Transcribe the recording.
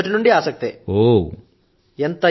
మరి అది చాలా ఆసక్తిదాయకమైన సబ్జెక్టు కూడాను